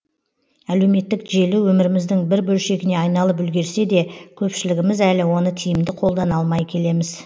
әлеуметтік желі өміріміздің бір бөлшегіне айналып үлгерсе де көпшілігіміз әлі оны тиімді қолдана алмай келеміз